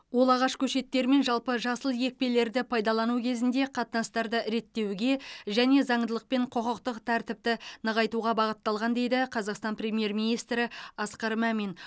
ол ағаш көшеттері мен жалпы жасыл екпелерді пайдалану кезінде қатынастарды реттеуге және заңдылық пен құқықтық тәртіпті нығайтуға бағытталған дейді қазақстан премьер министрі асқар мамин